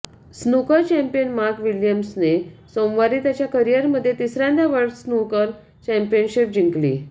snooker champion Mark विलियम्सने सोमवारी त्याच्या करियरमध्ये तिसऱ्यांदा वर्ल्ड स्नूकर चॅम्पियनशीप जिंकली